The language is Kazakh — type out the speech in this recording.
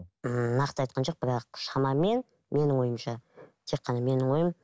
ііі нақты айтқан жоқ бірақ шамамен менің ойымша тек қана менің ойым